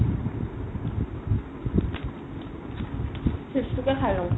chips তোকে খাই লও